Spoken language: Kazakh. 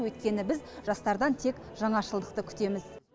өйткені біз жастардан тек жаңашылдықты күтеміз